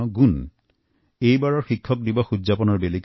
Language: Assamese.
আমি এবাৰ সকলোৱে মিলি শিক্ষক দিবস পালন কৰিম